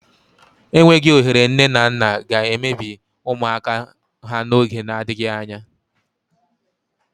Enweghị ohere nne na nna ga-emebi ụmụaka ha n'oge n'adịghị anya.